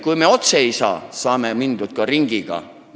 Kui me otse minna ei saa, siis saame mindud ringiga.